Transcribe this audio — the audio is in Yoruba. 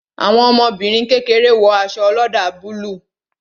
Àwọn ọmọbìnrin kékeré wo aṣọ oloda búlúù